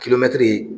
Kilomɛtiri